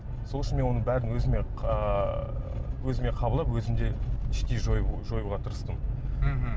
сол үшін мен оның бәрін өзіме ыыы өзіме қабылдап өзімде іштей жоюға тырыстым мхм